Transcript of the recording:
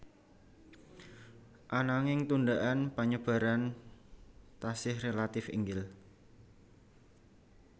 Ananging tundaan penyebaran tasih relatif inggil